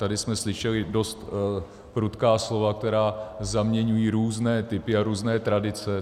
Tady jsme slyšeli dost prudká slova, která zaměňují různé typy a různé tradice.